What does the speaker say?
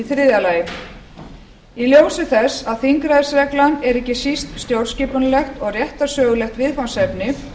þriðja í ljósi þess að þingræðisreglan er ekki síst stjórnskipunarleg og réttarsögulegt viðfangsefni